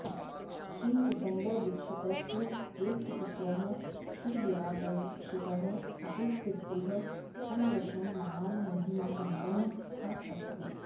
श्रीचिदम्बरदीक्षितस्य ज्येष्ठपुत्रः श्रीदिवाकरदीक्षितः अपि पितुः सदृशं महान् महिमासम्पन्नःअस्ति